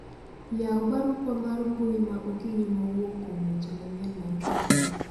Yaw barupa mar mbui ma okinyi mawuok kuom weche manyien mar ktn